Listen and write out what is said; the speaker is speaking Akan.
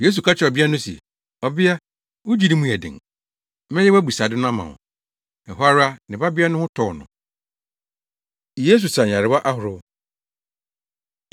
Yesu ka kyerɛɛ ɔbea no se, “Ɔbea, wo gyidi mu yɛ den. Mɛyɛ wʼabisade ama wo.” Ɛhɔ ara, ne babea no ho tɔɔ no. Yesu Sa Nyarewa Ahorow